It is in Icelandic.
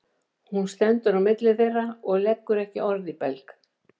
Hún stendur á milli þeirra og leggur ekki orð í belg.